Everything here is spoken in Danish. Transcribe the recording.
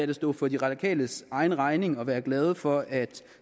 det stå for de radikales egen regning at være glade for at